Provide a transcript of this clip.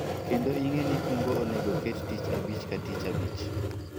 kendo ing'e ni kungo onego ket tich abich ka tich abich